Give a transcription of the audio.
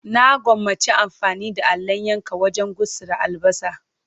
Na gwammaci amfani da allon yanka wajen gutsira albasa.